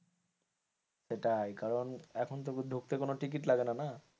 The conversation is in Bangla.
সেটাই কারণ এখন তো ঢুকতে কোন টিকিট লাগেনা না,